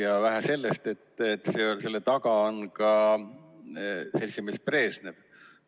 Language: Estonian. Ja vähe sellest, selle taga on ka seltsimees Brežnev.